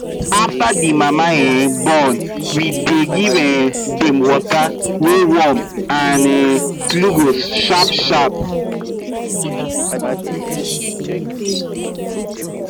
after the mama um born we dey give um dem water wey warm and um glucose sharp sharp